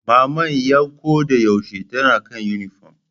Maman 'yan ko da yaushe tana kan yunifom.